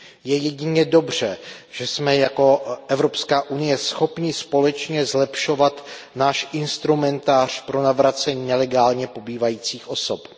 Je jedině dobře, že jsme jako Evropská unie schopni společně zlepšovat náš instrumentář pro navracení nelegálně pobývajících osob.